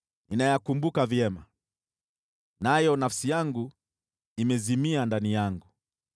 Ninayakumbuka vyema, nayo nafsi yangu imezimia ndani yangu.